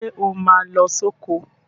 Ṣé o máa lọ sóko.?